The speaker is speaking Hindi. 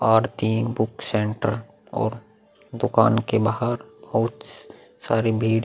और तीन बुक सेंटर और दुकान के बाहर बहोत सारी भीड़ --